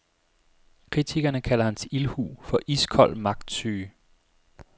Kritikerne kalder hans ildhu for iskold magtsyge.